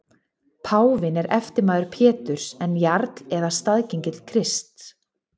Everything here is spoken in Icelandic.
Páfinn er eftirmaður Péturs en jarl eða staðgengill Krists.